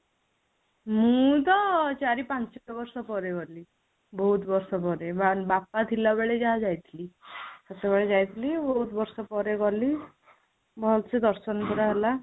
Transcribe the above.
ମୁଁ ତ ଚାରି ପାଞ୍ଚ ବର୍ଷ ପରେ ଗଲି ବହୁତ ବର୍ଷ ପରେ ବାପା ଥିଲା ବେଳେ ଯାହା ଯାଇଥିଲି, ତ ସେତବେଳେ ଯାଇଥିଲି ବହୁତ ବର୍ଷ ପରେ ଗଲି ଭଲସେ ଦର୍ଶନ ପୁରା ହେଲା